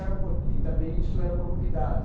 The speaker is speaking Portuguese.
Era um e também isso era uma novidade.